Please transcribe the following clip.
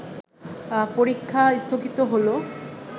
পরীক্ষা স্থগিত হলো